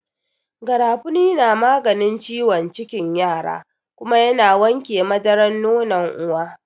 Garafuni na maganin ciwon cikin yara kuma ya na wanke madarar nonon uwa.